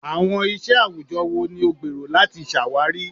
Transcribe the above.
Awọn iṣẹ awujọ wo ni o gbero lati ṣawari?